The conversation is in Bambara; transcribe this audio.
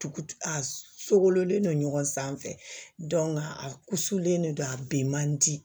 Tugu a sokolen don ɲɔgɔn sanfɛ a sulen de don a bin man di